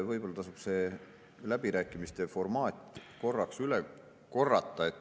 Võib-olla tasub see läbirääkimiste formaat korraks üle korrata.